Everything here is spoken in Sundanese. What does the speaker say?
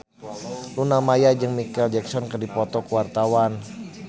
Luna Maya jeung Micheal Jackson keur dipoto ku wartawan